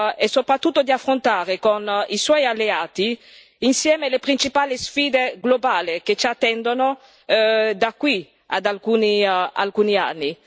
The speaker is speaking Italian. e, soprattutto, di affrontare con i suoi alleati, insieme, le principali sfide globali che ci attendono da qui ad alcuni anni.